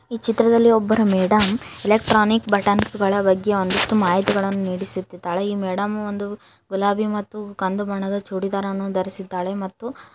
ಈ ಚಿತ್ರದಲ್ಲಿ ಒಬ್ಬರ ಮೇಡಮ್ ಎಲೆಟ್ರಾನಿಕ್ ಬಟನ್ಸ್ ಬಗ್ಗೆ ಒಂದಿಷ್ಟು ಮಾಹಿತಿಗಳನ್ನು ನಿಂಡಿಸುತ್ತಿದ್ದಾಳೆ ಈ ಮೇಡಮ್ ಒಂದು ಗುಲಾಬಿ ಮತ್ತು ಕಂದು ಬಣ್ಣದ ಚೂಡಿದಾರ ಅನ್ನು ಧರಿಸಿದ್ದಾಳೆ ಮತ್ತು.